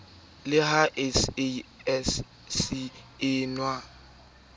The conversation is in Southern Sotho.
le ha sasc e na